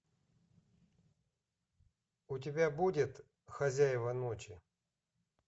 у тебя будет хозяева ночи